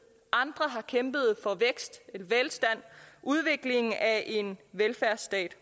andre har kæmpet for vækst velstand og udviklingen af en velfærdsstat